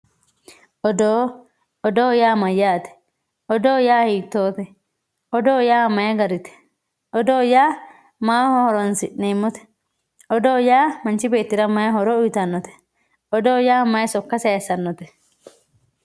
Odoo, odoo yaa mayyate, odoo hiittote, odoo yaa mayi garite, odoo yaa maaho horonsi'neemmote, odoo yaa manchi beettira mayi horo uyittanote, odoo yaa mayi sokka saysanote?